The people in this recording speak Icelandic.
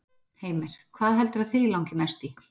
Heimir: Hvað heldurðu að þig langi mest í?